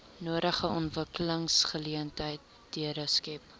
nodige ontwikkelingsgeleenthede skep